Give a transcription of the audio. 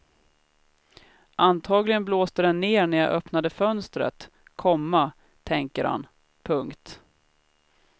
Antagligen blåste den ner när jag öppnade fönstret, komma tänker han. punkt